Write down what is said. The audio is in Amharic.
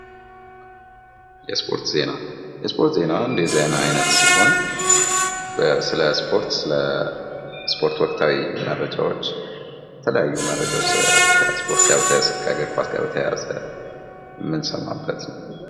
የስፖርት ዜና፦ የስፖርት ዜና አንዱ የዜና አይነት ሲሆን ስለ ስፖርት፥ ስለ ስፖርታዊ ወቅታዊ መረጃዎች ከስፖርት ጋር በተያያዘ፥ ከእግር ኳስ ጋር በተያያዘ የምንሰማበት ነው።